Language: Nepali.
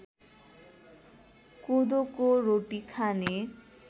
कोदोको रोटी खाने